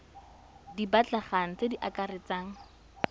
di batlegang tse di akaretsang